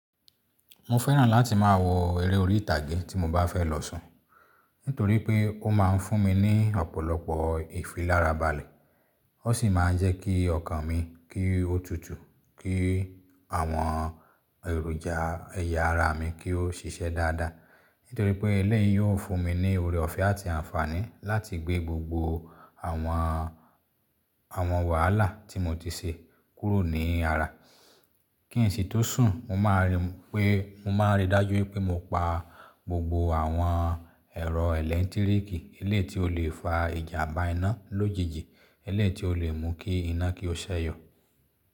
Mo fẹ́ràn láti má a wo eré orí ìtàgé tí mo bá fẹ́ lọ sùn, nítorí pé ó ma ń fún mi ní ọ̀pọ̀lọpọ̀ ìfilárabalé. Ó sì máa ń jẹ́ kí ọkàn mi kí ó tutù, kí àwọn èròjà ẹ̀yà ara mi kí ó ṣíṣẹ́ dáadáa. Nítorí pé ilé yìí yóò fún mi ní oore ọ̀fẹ́ àti àǹfààní láti gbé gbogbo àwọn, àwọn wàhálà tí mo ti ṣe kúrò ní ara. Kí n sì tó sùn, mo máa rí pé, mo máa ríi dájú wipé mo pa gbogbo àwọn ẹ̀rọ ẹlẹtíríkì eléyi tí ó le fa ìjàmbá iná lójijì, eléyi tí ó lè mú kí iná kí ó ṣẹ̀yọ̀.